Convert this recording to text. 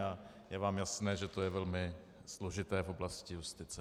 A je vám jasné, že to je velmi složité v oblasti justice.